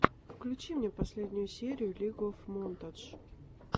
включи мне последнюю серию лиг оф монтадж